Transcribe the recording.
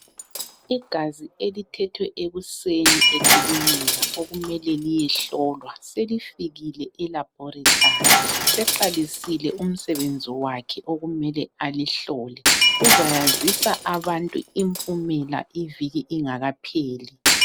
Igazi elithethwe ekuseni ekilinika okumele liyehlolwa selifikile (eLaboratory). Seqalisile umsebenzi wakhe okumele alihlole, uzayazisa abantu impumela iviki ingakapheli.